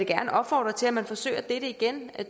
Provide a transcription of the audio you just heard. gerne opfordre til at man forsøger igen